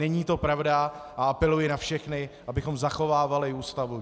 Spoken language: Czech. Není to pravda a apeluji na všechny, abychom zachovávali Ústavu.